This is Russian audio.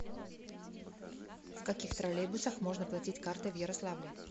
в каких троллейбусах можно платить картой в ярославле